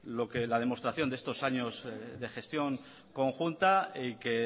lo que la demostración de estos años de gestión conjunta y que